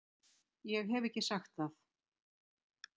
Ég hef ekki sagt það!